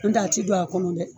Non tɛ a ti don a kɔnɔ dɛ